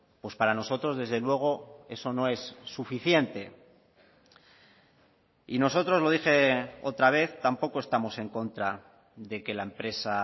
pues para nosotros desde luego eso no es suficiente y nosotros lo dije otra vez tampoco estamos en contra de que la empresa